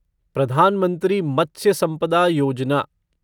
Pradhan Mantri Matsya Sampada Yojana